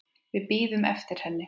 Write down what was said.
Við bíðum eftir henni